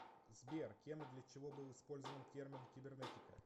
сбер кем и для чего был использован термин кибернетика